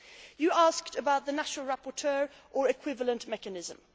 You asked about the national rapporteur or equivalent mechanism.